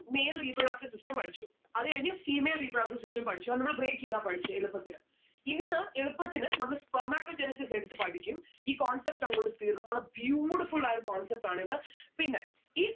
male reproductive system പഠിച്ചു. അത് കഴിഞ്ഞ് female reproductive system പഠിച്ചു. അന്ന് നമ്മള് break എയ്താ പഠിച്ചേ എളുപ്പത്തിന്. ഇന്ന് എളുപ്പത്തിന് നമ്മള് Spermatogenesis എടുത്ത് പഠിക്കും. ഈ concept അങ്ങോട്ട് തീർന്ന്‌ നല്ല beautiful ആയൊരു concept ആണിത്. പിന്നെ ഈ